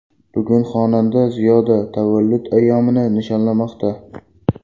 Bugun xonanda Ziyoda tavallud ayyomini nishonlamoqda.